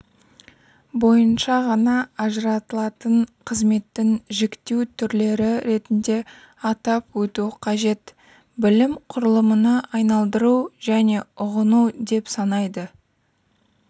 бойынша ғана ажыратылатын қызметтің жіктеу түрлері ретінде атап өту қажет білім құрылымына айналдыру және ұғыну деп санайды